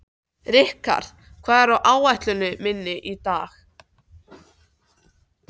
Rikharð, hvað er á áætluninni minni í dag?